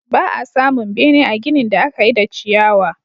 Ba a samun bene a ginin da aka yi da ciyawa.